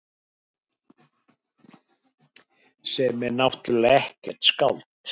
Sem er náttúrlega ekkert skáld.